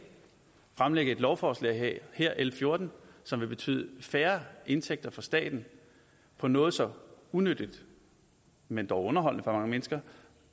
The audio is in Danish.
fremlægge et lovforslag her l fjorten som vil betyde færre indtægter for staten på noget så unyttigt men dog underholdende for mange mennesker